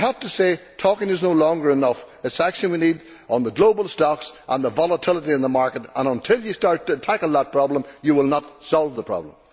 I have to say that talking is no longer enough it is action we need on global stocks and volatility in the market, and until you start to tackle that problem, you will not solve the problem.